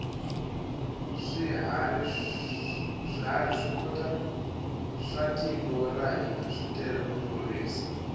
swiharhi swa tiko ra hina switele ku tlurisa